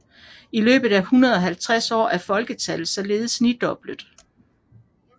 I løbet af 150 år er folketallet således nidoblet